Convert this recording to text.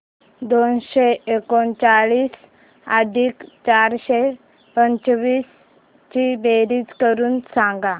दोनशे एकोणचाळीस अधिक चारशे पंचवीस ची बेरीज करून सांगा